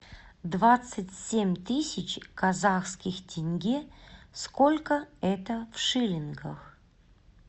двадцать семь тысяч казахских тенге сколько это в шиллингах